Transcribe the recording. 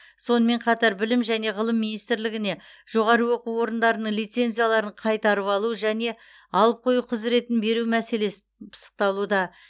сонымен қатар білім және ғылым министрлігіне жоғары оқу орындарының лицензияларын қайтарып алу және алып қою құзыретін беру мәселесі пысықталуда